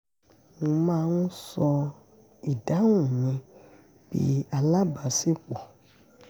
mo má ń ṣọ́ ìdáhùn mi bí alábaṣípọ̀